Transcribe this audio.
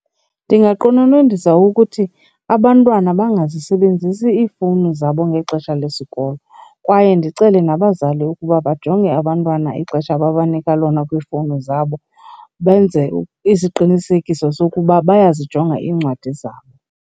Ndingaqononondisa ukuthi abantwana bangazisebenzisi iifowuni zabo ngexesha lesikolo kwaye ndicele nabazali ukuba bajonge abantwana ixesha ababanika lona kwiifowuni zabo benze isiqinisekiso sokuba bayazijonga iincwadi zabo.